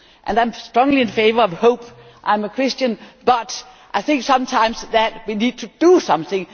I am strongly in favour of hope I am a Christian but I think sometimes that we need to do something.